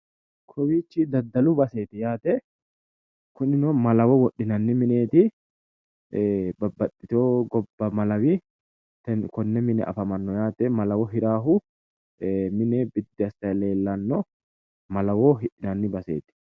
Kowiichchi daddalu baseeti yaate kunino malawo wodhinanni mineeti babbaxxitewo gobba malawi konne mine afamanno yaate malawo hiraahu mine biddi assayi leellanno malawo hidhinanni baseeti